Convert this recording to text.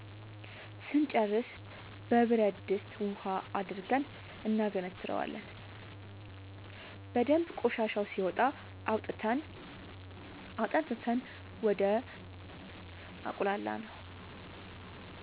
ስንጨርስ በብረድስት ውሃ አድርገን እናገነትረዋለን በደንብ ቆሻሻው ሲወጣ አውጥተን አጠንፍፈን ወደ አቁላላነው